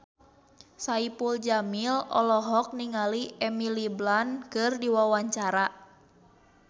Saipul Jamil olohok ningali Emily Blunt keur diwawancara